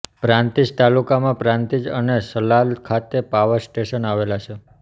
પ્રાંતિજ તાલુકામાં પ્રાંતિજ અને સલાલ ખાતે પાવર સ્ટેશન આવેલાં છે